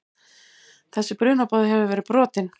Þessi brunaboði hefur verið brotinn.